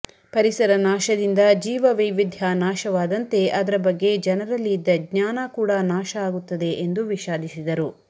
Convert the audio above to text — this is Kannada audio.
ಪರಿಸರ ನಾಶದಿಂದ ಜೀವ ವೈವಿಧ್ಯ ನಾಶವಾದಂತೆ ಅದರ ಬಗ್ಗೆ ಜನರಲ್ಲಿ ಇದ್ದ ಜ್ಞಾನ ಕೂಡ ನಾಶ ಆಗುತ್ತದೆ ಎಂದು ವಿಷಾದಿಸಿದರು